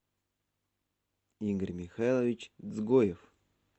игорь михайлович дзгоев